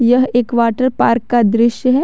यह एक water park का दृश्य है।